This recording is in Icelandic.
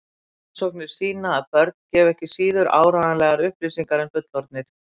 Rannsóknir sýna að börn gefa ekki síður áreiðanlegar upplýsingar en fullorðnir.